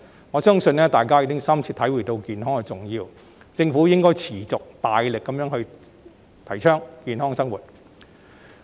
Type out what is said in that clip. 我相信，大家已深切體會到健康的重要，所以政府應該持續大力提倡健康生活。